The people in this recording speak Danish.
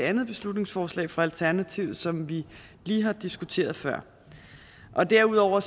andet beslutningsforslag fra alternativet som vi lige har diskuteret før derudover